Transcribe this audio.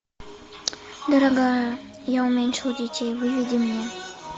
дорогая я уменьшил детей выведи мне